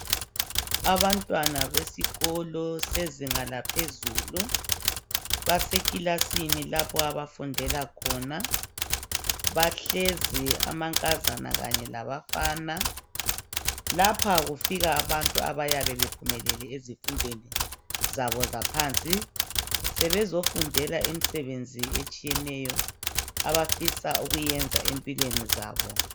Abantwana besikolo sezinga laphezulu basekilasini lapho abafundela khona. Bahlezi amankazana kanye labafanaLapha kufika abantu abayabe bephumelele ezifundweni zabo zaphansi sebezofundela imisebenzi etshiyeneyo abafisa ukuyiyenza empilweni zabo.